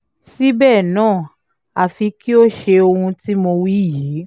síbẹ̀ náà àfi kí o ṣe ohun tí mo wí yìí